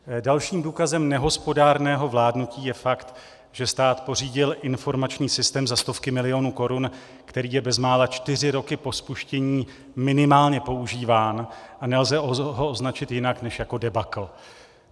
Dalším důkazem nehospodárného vládnutí je fakt, že stát pořídil informační systém za stovky milionů korun, který je bezmála čtyři roky po spuštění minimálně používán a nelze ho označit jinak než jako debakl.